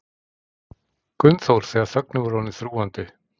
Gunnþór þegar þögnin var orðin þrúgandi.